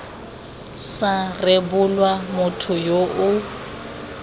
sa rebolwa motho yo o